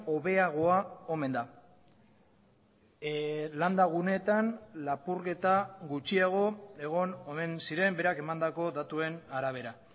hobeagoa omen da landa guneetan lapurketa gutxiago egon omen ziren berak emandako datuen arabera